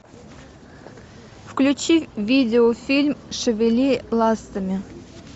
включи видеофильм шевели ластами